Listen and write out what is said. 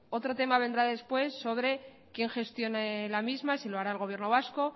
otro tema vendrá después de quién gestione la misma si lo hará el gobierno vasco